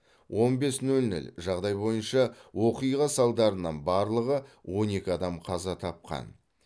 он бес нөл нөл жағдай бойынша оқиға салдарынан барлығы он екі адам қаза тапқан